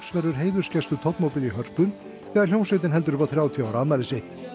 verður heiðursgestur í Hörpu þegar hljómsveitin heldur upp á þrjátíu ára afmæli sitt